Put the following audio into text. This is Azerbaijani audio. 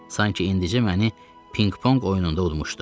Sanki indicə məni pinq-ponq oyununda udmuşdu.